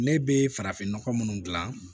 Ne bɛ farafin nɔgɔ minnu dilan